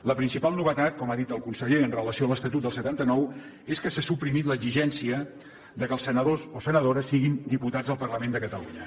la principal novetat com ha dit el conseller amb relació a l’estatut del setanta nou és que s’ha suprimit l’exigència que els senadors o senadores siguin diputats al parlament de catalunya